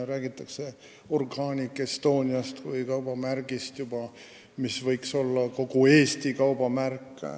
Räägitakse Organic Estoniast, mis võiks olla kogu Eesti kaubamärk.